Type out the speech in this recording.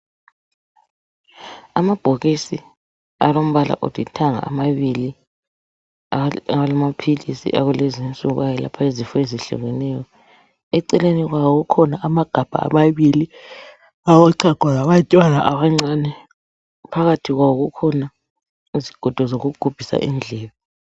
Amabhokisi alombala olithanga amabili , alamaphilisi awakulezinsuku ayelapha izifo ezehlukeneyo Eceleni kwawo kukhona, amagabha amabili, alochago lwabantwana abancane. Phakathi kwawo kukhona izigodo zokugubhisa indlebe.